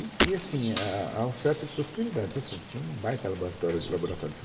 E e assim, a a a oferta de possibilidades, assim, tinha um baita laboratório laboratório de